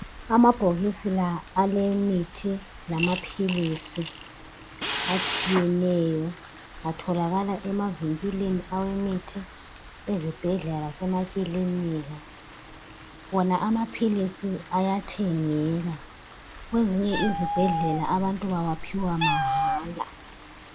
Amabhokisi la alemithi lamaphilisi atshiyeneyo atholakala emavinkilini awemithi, ezibhedlela lasemakilinika, wona amaphilisi ayathengeka kwezinye izibhedlela abantu bawaphiwa mahala.